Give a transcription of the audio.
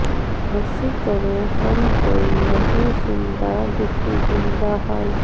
کی کریے ہن کوئی نہیی سن دا دکھی دل دا حال